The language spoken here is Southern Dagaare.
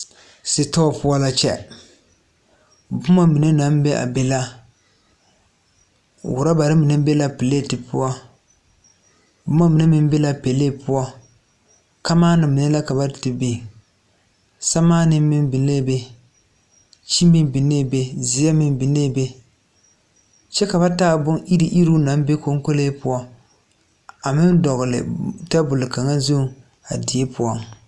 Sitɔɔ poɔ la kyɛ bomma mine naŋ be a be la rɔbarre mine be la plete poɔ bomma mine meŋ be la pɛlee poɔ kamaana mine la ka ba te biŋ sɛmaanee meŋ binee be kyi meŋ binee be mine zeɛ meŋ binee be kyɛ ka ba taa bon iruŋ iruŋ naŋ be konkolee poɔ a meŋ dɔgle tabol kaŋa zuŋ a die poɔ.